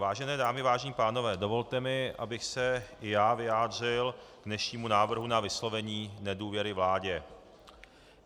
Vážené dámy, vážení pánové, dovolte mi, abych se i já vyjádřil k dnešnímu návrhu na vyslovení nedůvěry vládě.